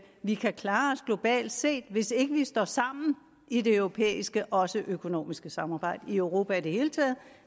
vi kan klare os globalt set hvis ikke vi står sammen i det europæiske også i det økonomiske samarbejde i europa i det hele taget